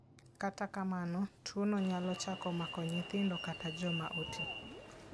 Kata kamano, tuwono nyalo chako mako nyithindo kata joma oti.